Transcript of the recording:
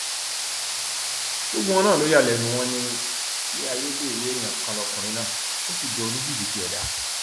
gbogbo wọn náà ló yà lẹnu wọn ní ní ayédèrú èèyàn kan lọkùnrin náà ó sì jọ oníjìbìtì ẹdá